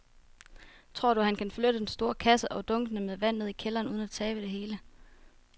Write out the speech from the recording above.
Tror du, at han kan flytte den store kasse og dunkene med vand ned i kælderen uden at tabe det hele?